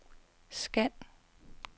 scan